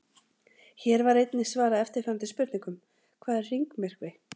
Hér var einnig svarað eftirfarandi spurningum: Hvað er hringmyrkvi?